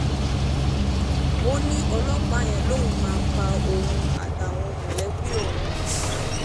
ó ní ọlọ́pàá yẹn lòun máa pa òun àtàwọn mọ̀lẹ́bí òun